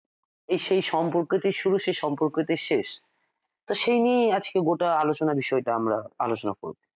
এই সেই সম্পর্ককেই শুরু সেই সম্পর্ক তেই শেষ তো সেই নিয়েই আজকে গোটা আলোচনা বিষয়টা আমরা আলোচনা করব